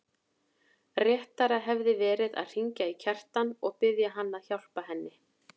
Réttara hefði verið að hringja í Kjartan og biðja hann að hjálpa henni.